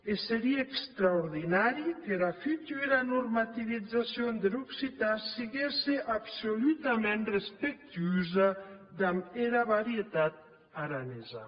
e serie extraordinari qu’era futura normativizacion der occitan siguesse absoludament respectuosa damb era varietat aranesa